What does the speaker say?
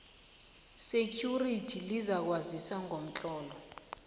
security lizakwazisa ngomtlolo